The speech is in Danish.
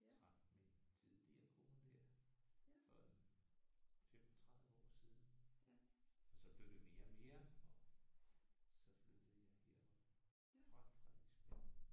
Jeg traf min tidligere kone her for en 35 år siden og så blev det mere og mere og så flyttede jeg her fra Frederiksberg